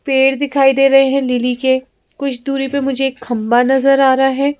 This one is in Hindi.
पेड़ दिखाई दे रहे हैंलीली के कुछ दूरी पे मुझे एक खंबा नजर आ रहा है।